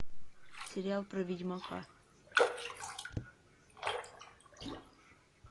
сериал про ведьмака